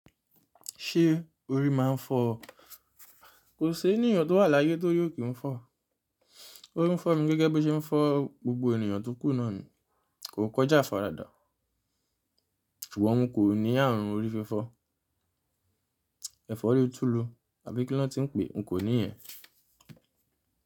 Ṣé orí máa ń fọ́ ọ? Kò sí ènìyàn tó wà láyé tó óri o kì ń fọ́ ọ. Orí ń fọ́ mi gẹ́gẹ́ bí o ṣe ń fọ́ gbogbo ènìyàn tó kù náà ni. Kò kọjá àfaradà. Ìwọ òun kò ní ààrùn orí fífọ́. Ẹ̀fọ́rí tùlú àbí kí lán tí ń pè, n kò ní ìyẹn.